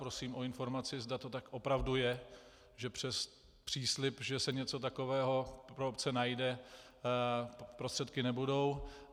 Prosím o informaci, zda to tak opravdu je, že přes příslib, že se něco takového pro obce najde, prostředky nebudou.